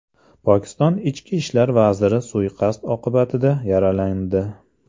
Pokiston ichki ishlar vaziri suiqasd oqibatida yaralandi.